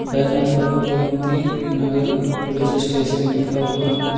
Banner पर Gomti Nagar police station लिखा हुआ है।